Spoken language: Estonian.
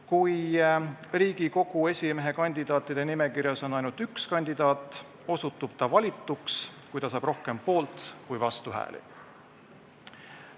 Kui Riigikogu esimehe kandidaatide nimekirjas on ainult üks kandidaat, osutub ta valituks, kui ta saab rohkem poolt- kui vastuhääli.